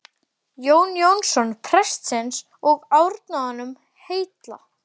Jón Jónsson prestsins og árnaði honum heilla.